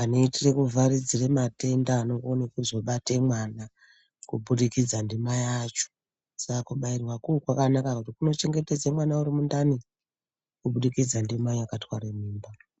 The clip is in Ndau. anoitire kuvharidzire matenda anokone kuzobate mwana kubudikidza ndimai acho. Saka kubairwako kwakanaka ngekuti kunochengetedze mwana urimundani kubudikidza ndimai akatware mimba.